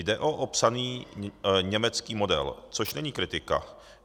Jde o opsaný německý model, což není kritika.